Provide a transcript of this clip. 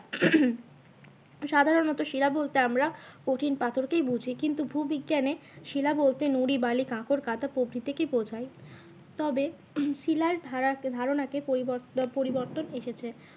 সাধারণত শিলা বলতে আমরা কঠিন পাথরকেই বুঝি কিন্তু ভূবিজ্ঞানে শিলা বলতে নুড়ি বালি কাঁকর কাদা প্রভৃতিকেই বোঝায়। তবে শিলার ধারা, ধারনাকে পরিবর্তন এসেছে।